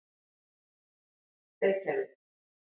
Reykjavík